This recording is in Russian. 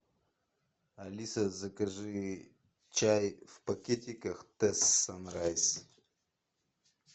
алиса закажи чай в пакетиках тесс санрайс